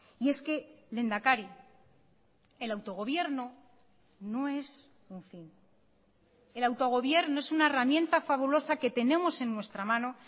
y es que lehendakari el autogobierno no es un fin el autogobierno es una herramienta fabulosa que tenemos en nuestra mano